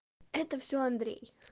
это все андрей